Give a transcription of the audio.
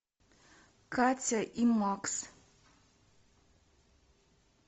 катя и макс